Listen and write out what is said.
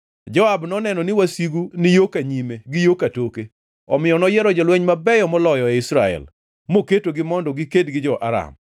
Joab noneno ni wasigu ni yo ka nyime gi yo katoke, omiyo noyiero jolweny mabeyo moloyo ei Israel, moketogi mondo giked gi jo-Aram.